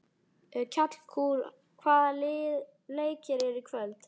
Kjallakur, hvaða leikir eru í kvöld?